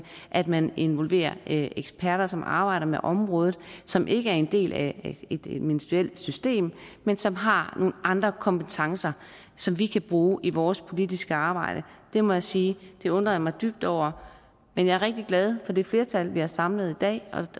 at man involverer eksperter som arbejder med området som ikke er en del af et ministerielt system men som har nogle andre kompetencer som vi kan bruge i vores politiske arbejde det må jeg sige at jeg undrer mig dybt over men jeg er rigtig glad for det flertal vi har samlet i dag og